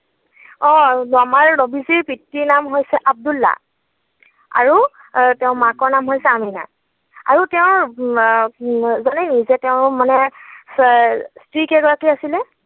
অ আমাৰ নৱীজীৰ পিতৃৰ নাম হৈছে আব্দুল্লাহ আৰু তেওঁৰ মাকৰ নাম হৈছে আমিনা, আৰু তেওঁৰ জানে নেকি যে তেওঁৰ মানে স্ত্ৰী কেইগৰাকী আছিলে?